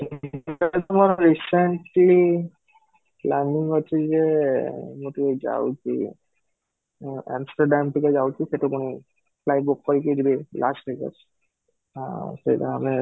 ମୋ recently planning ଅଛି ଯେ ମୁଁ ଟିକେ ଯାଉଛି Amsterdam ଟିକେ ଯାଉଛି ସେଠୁ ପୁଣି flight book କରିକି ଯିବି Las Vegas ଆଉ ସେଟା ଆମେ